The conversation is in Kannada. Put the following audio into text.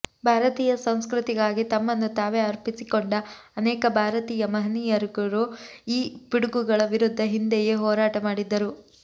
ಭಾರತೀಯ ಸಂಸ್ಕೃತಿಗಾಗಿ ತಮ್ಮನ್ನು ತಾವೇ ಅರ್ಪಿಸಿಕೊಂಡ ಅನೇಕ ಬಾರತೀಯ ಮಹನೀಯರುಗಳು ಈ ಪಿಡುಗುಗಳ ವಿರುದ್ಧ ಹಿಂದೆಯೇ ಹೋರಾಟ ಮಾಡಿದ್ದರು